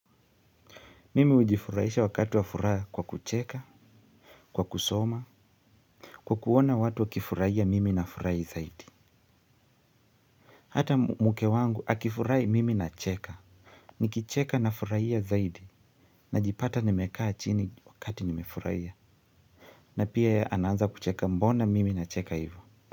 Mimi hujifuraisha wakati wa furaha kwa kucheka, kwa kusoma, kwa kuona watu wakifurahia mimi nafurahi zaidi. Hata mke wangu akifurahi, mimi nacheka. Nikicheka na furahia zaidi najipata nimekaa chini wakati nimefurahia. Na pia ye anaanza kucheka, mbona mimi nacheka hivyo.